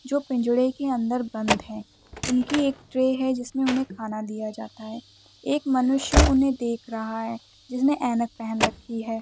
जो पिंजड़े के अंदर बंद है| उनकी एक ट्रे है जिसमें उन्हें खाना दिया जाता है| एक मनुष्य उन्हें देख रहा है जिसने ऐनक पेहेन रखी है।